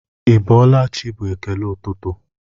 Ịbọọlachi bụ ekele ụtụtụ.